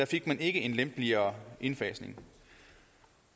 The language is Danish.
fik en lempeligere indfasning